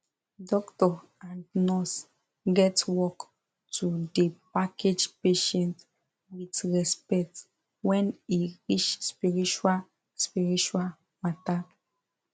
doctor and nurse get work to da package patient with respect wen e reach spiritual spiritual matter